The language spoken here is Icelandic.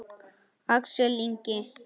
Axel Ingi.